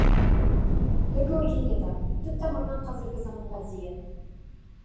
түркі өркениеті түп тамырынан қазіргі заманға дейін